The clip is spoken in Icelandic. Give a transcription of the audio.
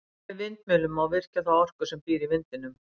Með vindmyllum má virkja þá orku sem býr í vindinum.